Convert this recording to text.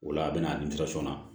O la a bɛna na